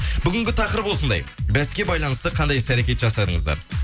бүгінгі тақырып осындай бәске байланысты қандай іс әрекет жасадыңыздар